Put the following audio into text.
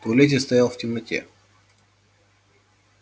в туалете стоял в темноте